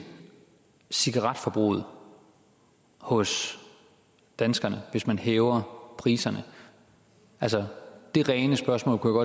cigaretforbruget hos danskerne hvis man hæver priserne altså det rene spørgsmål kunne